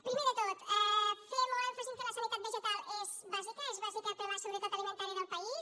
primer de tot fer molt èmfasi en què la sanitat vegetal és bàsica és bàsica per a la seguretat alimentària del país